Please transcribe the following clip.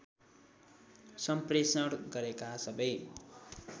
सम्प्रेषण गरेका सबै